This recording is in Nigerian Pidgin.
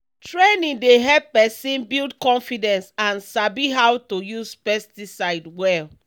training dey help person build confidence and sabi how to use pesticide well.